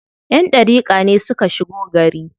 Ƴan ɗariƙa ne suka shigo gari.